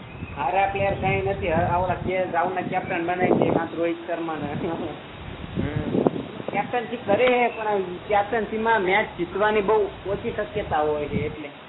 હવે અત્યાર કઈ નથી હવે ભાઉ ને કેપ્ટન ને બનાઈ દે છે કા રોહિત શર્મા ને હમ કેપ્ટનસી કરેહે પણ કેપ્ટનસી મેચ જીતવાની ની બઉ ઓછી શક્યતા હોય એટલે